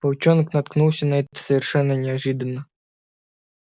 волчонок наткнулся на это совершенно неожиданно